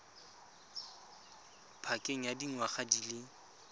pakeng ya dingwaga di le